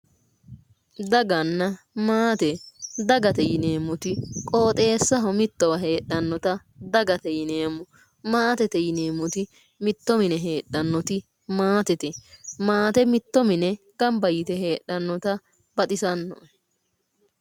Daganna maate dagate yineemmoti qooxeessaho mittowa heedhannota dagate yineemmo, maatete yineemmoti mitto mine heedhannoti maatete maate mitto mine gamba yite heedhannota baxisannoe